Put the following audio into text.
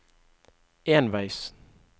enveis